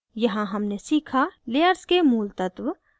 यहाँ हमने सीखा layers के मूल तत्व